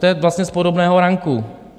To je vlastně z podobného ranku.